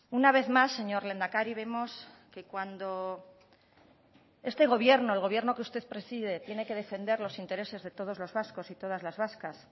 una vez más señor lehendakari vemos que cuando este gobierno el gobierno que usted preside tiene que defender los intereses de todos los vascos y todas las vascas